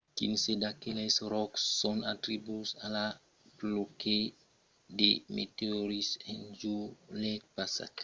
quinze d’aqueles ròcs son atribuïts a la pluèja de meteorits en julhet passat